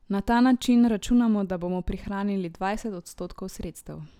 Na ta način računamo, da bomo prihranili dvajset odstotkov sredstev.